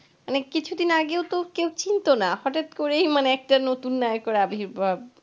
মানে কিছুদিন আগেও তো কেউ চিনত না হঠাৎ করেই মানে একটা নতুন নায়কের আবির্ভাব.